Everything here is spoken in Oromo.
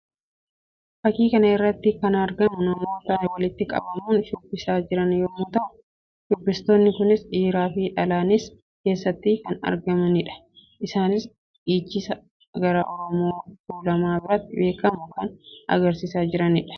Fakkii kana irratti kan argamu namoota walitti qabamuun shubbisaa jiran yammuu ta'u; shubbistoonni kunis dhiiraa fi dhalaanis keessatti kan argamanii dha. Isaannis dhiichisa gara Oromoo tuulamaa biratti beekamu kan agarsiisaa jiranii dha.